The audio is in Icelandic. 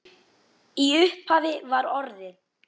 Í upphafi var orðið